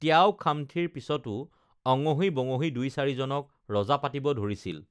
ত্যাও খামথিৰ পিচতো অঙহী বঙহী দুই চাৰিজনক ৰজা পাতিব ধৰিছিল